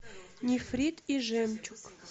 нефрит и жемчуг